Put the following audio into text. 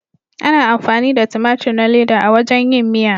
Ana amfani da tumatur na leda a wajen yin miya.